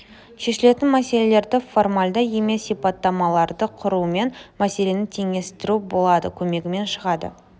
шешілетін мәселелерді формальді емес сипаттамаларды құрумен мәселені теңестіру болады көмегімен шығады